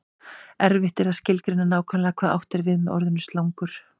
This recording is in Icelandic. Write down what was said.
erfitt er að skilgreina nákvæmlega hvað átt er við með orðinu slangur